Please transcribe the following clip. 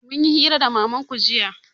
Mun yi hira da mamanku jiya